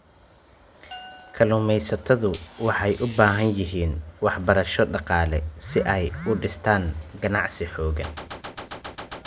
Kalluumaysatadu waxay u baahan yihiin waxbarasho dhaqaale si ay u dhistaan ??ganacsi xooggan.